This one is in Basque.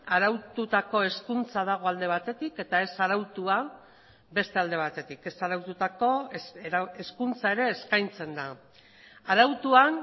araututako hezkuntza dago alde batetik eta ez arautua beste alde batetik ez araututako hezkuntza ere eskaintzen da arautuan